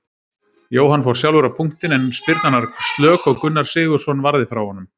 Jóhann fór sjálfur á punktinn en spyrnan var slök og Gunnar Sigurðsson varði frá honum.